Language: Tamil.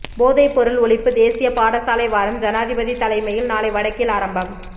போதைப்பொருள் ஒழிப்பு தேசிய பாடசாலை வாரம் ஜனாதிபதி தலைமையில் நாளை வடக்கில் ஆரம்பம்